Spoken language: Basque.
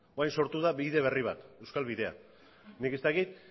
orain sortu da bide berri bat euskal bidea nik ez dakit